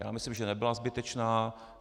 Já myslím, že nebyla zbytečná.